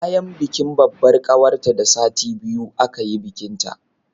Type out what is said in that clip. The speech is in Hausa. Bayan bikin babbar ƙawarta da sati biyu aka yi bikinta